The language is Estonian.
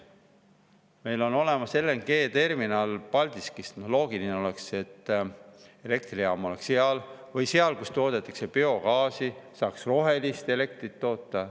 Meil on olemas LNG-terminal Paldiskis, loogiline oleks, et elektrijaam oleks seal või seal, kus toodetakse biogaasi, saaks rohelist elektrit toota.